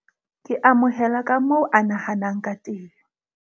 ke amohela ka moo a nahanang ka teng.